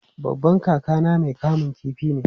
Babban kakana mai kamun kifi ne.